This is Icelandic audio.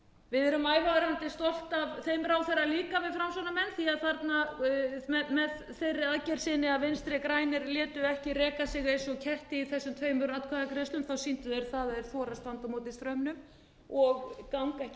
við erum ævarandi stolt af þeim ráðherra líka við framsóknarmenn því að með þeirri aðgerð sinni að vinstri grænir létu ekki reka sig eins og í þessum tveimur atkvæðagreiðslum sýndu þeir að þeir þora að standa á móti straumnum og ganga ekki í